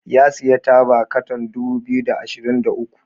ya sayi taba katan dubu biyu da ashirin da uku